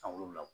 San wolonwula